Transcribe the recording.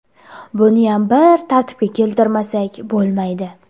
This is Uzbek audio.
Buniyam bir tartibga keltirmasak bo‘lmaydi.